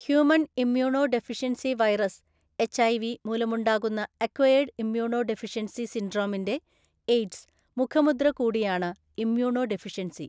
Human immunodeficiency virus (HIV) മൂലമുണ്ടാകുന്ന acquired immunodeficiency സിൻഡ്രോമിന്റെ (AIDS) മുഖമുദ്ര കൂടിയാണ് ഇമ്മ്യൂണോ ഡെഫിഷ്യൻസി.